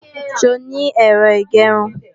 Ṣé o ní Ẹ̀rọ ìgẹrun?